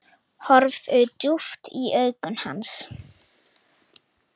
Horfi djúpt í augu hans.